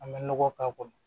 An bɛ nɔgɔ k'a kɔnɔ